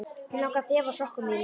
Mig langar að þefa af sokkum þínum.